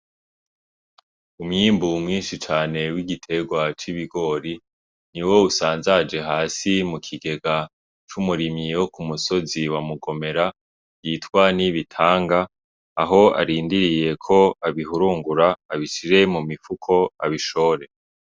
Umwimbu mwinshi cane w'igiterwa c'ibigori niwo usanzaje hasi mukigega c'umurimyi wo kumusozi wa mugomera yitwa NIBITANGA aho arindiriye ko abihurungura abishire mumifuko abishore.